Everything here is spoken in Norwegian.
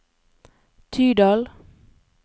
Tydal